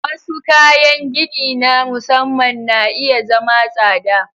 Wasu kayan gini na musamman na iya zama tsada.